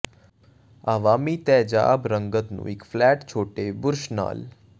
ਅਵਾਮੀ ਤੇਜਾਬ ਰੰਗਤ ਨੂੰ ਇੱਕ ਫਲੈਟ ਛੋਟੇ ਬੁਰਸ਼ ਨਾਲ